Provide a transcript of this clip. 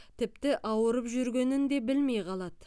тіпті ауырып жүргенін де білмей қалады